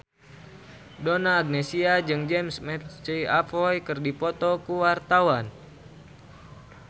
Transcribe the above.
Donna Agnesia jeung James McAvoy keur dipoto ku wartawan